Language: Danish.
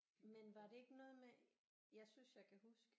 Men var det ikke noget med jeg synes jeg kan huske